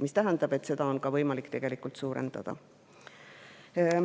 mis tähendab, et seda on võimalik suurendada.